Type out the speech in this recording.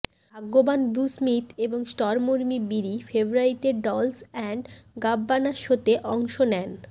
ভাগ্যবান Blue Smith এবং Stormi Bree ফেব্রুয়ারিতে ডল্স অ্যান্ড গাব্বানা শোতে অংশ নেন